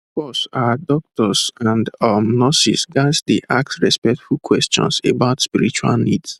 pause ah doctors and um nurses ghats dey ask respectful questions about spiritual needs